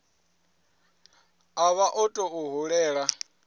a vha o tou hulela